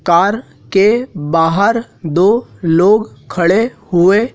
car के बाहर दो लोग खड़े हुए--